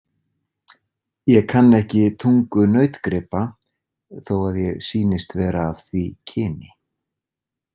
Ég kann ekki tungu nautgripa þó að ég sýnist vera af því kyni.